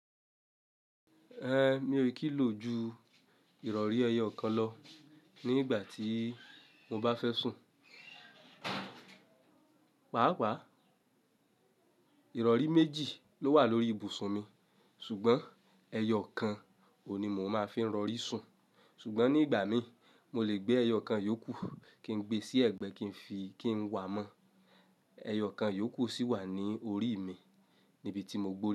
Mi ò kí lo ju ìrọ̀rí ẹyọ kan lọ nígbà tí mo bá fẹ́ sùn. Pàápàá. Ìrọ̀rí méjì ló wà lórí ibùsùn mi, ṣùgbọ́n ẹyọ kan ò ní mo máa fi ń rọrí sùn. Ṣùgbọ́n nígbà mí mo lè gbé ẹyọ kan yókù kí n gbe sí ẹ̀gbẹ́ kí n fi kí n wà mọ́. Ẹyọ kan yókù sì wà ní orí mi níbi tí mo gbó.